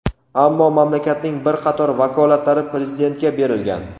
Ammo mamlakatning bir qator vakolatlari Prezidentga berilgan.